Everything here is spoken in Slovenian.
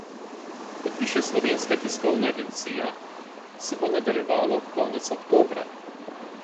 Kot piše Slovenska tiskovna agencija, se bo nadaljevalo konec oktobra.